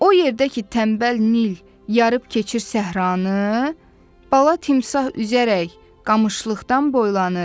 O yerdə ki, tənbəl Nil yarıb keçir səhranı, bala timsah üzərək qamışlıqdan boylanır.